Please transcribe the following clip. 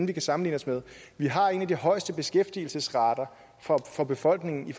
vi kan sammenligne os med vi har en af de højeste beskæftigelsesrater for befolkningen i